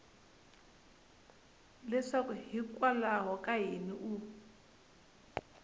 leswaku hikwalaho ka yini u